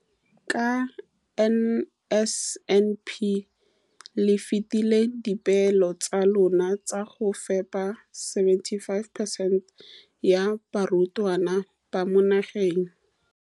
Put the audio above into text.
Ka NSNP le fetile dipeelo tsa lona tsa go fepa masome a supa le botlhano a diperesente ya barutwana ba mo nageng.